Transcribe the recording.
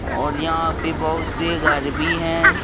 और यहां पे बहोत से घर भी हैं।